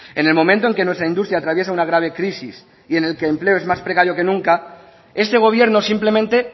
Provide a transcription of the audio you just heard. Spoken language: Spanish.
en el momento en que nuestra industria atraviesa una grave crisis y en el que el empleo es más precaria que nunca este gobierno simplemente